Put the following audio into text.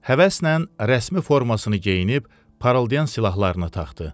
Həvəslə rəsmi formasını geyinib, parıldayan silahlarını taxdı.